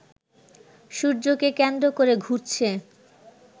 সূর্যকে কেন্দ্র করে ঘুরছে